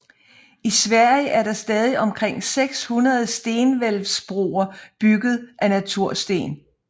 I Sverige er der stadig omkring 600 stenhvælvsbroer bygget af natursten